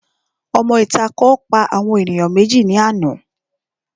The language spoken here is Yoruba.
Òmọ ìta kan pa àwọn ènìyàn méjì ní àná